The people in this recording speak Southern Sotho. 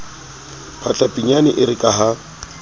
phahla pinyane ere ka ha